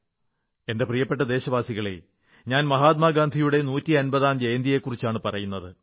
എന്റെ പ്രിയപ്പെട്ട ദേശവാസികളേ ഞാൻ മഹാത്മാഗാന്ധിയുടെ നൂറ്റിയമ്പതാം ജയന്തിയെക്കുറിച്ചാണു പറയുന്നത്